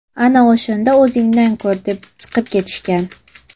Ana o‘shanda o‘zingdan ko‘r”, - deb chiqib ketishgan.